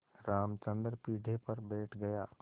रामचंद्र पीढ़े पर बैठ गया